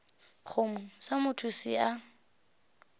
kgomo sa motho se a